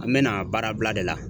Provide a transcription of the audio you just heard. An bɛ na baara bila de la.